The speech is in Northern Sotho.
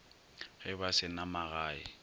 ge ba se na magae